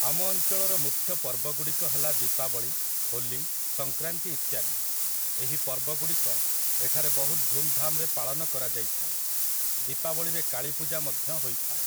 ଆମ ଅଞ୍ଚଳର ମୁଖ୍ୟ ପର୍ବ ଗୁଡ଼ିକ ହେଲା ଦୀପାବଳୀ, ହୋଲି, ସଂକ୍ରାନ୍ତି ଇତ୍ୟାଦି । ଏହି ପର୍ବଗୁଡ଼ିକ ଏଠାରେ ବହୁତ ଧୁମ୍ ଧାମରେ ପାଳନ କରାଯାଇଥାଏ । ଦୀପାବଳୀରେ କାଳୀପୂଜା ମଧ୍ୟ ହୋଇଥାଏ ।